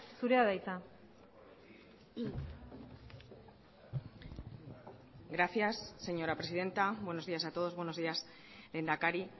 zurea da hitza gracias señora presidenta buenos días a todos buenos días lehendakari